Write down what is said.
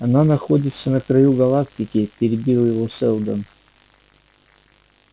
она находится на краю галактики перебил его сэлдон